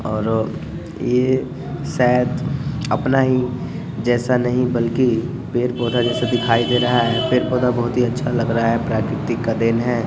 और ये शायद अपना ही जैसा नहीं बल्कि पड़े-पौधा जैसा दिखाई दे रहा है पेड़-पौधा बहुत ही अच्छा लग रहा है प्रकृति का देन है।